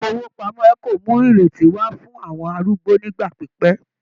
Ilé ifowopamọ Eco mú ìrètí wà fún àwọn arúgbó nigba pipẹ.